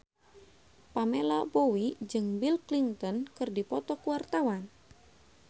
Pamela Bowie jeung Bill Clinton keur dipoto ku wartawan